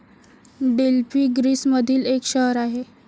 Delphi ग्रीसमधिल एक शहर आहे.